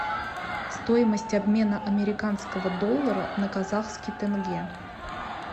стоимость обмена американского доллара на казахский тенге